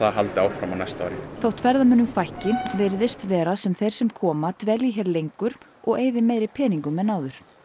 haldi áfram á næsta ári þótt ferðamönnum fækki virðist vera sem þeir sem koma dvelji hér lengur og eyði meiri peningum en áður